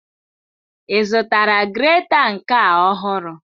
Ị zụtara greta nke a ọhụrụ?